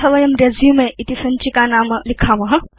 अथ वयं रेसुमे इति सञ्चिकानाम लिखेम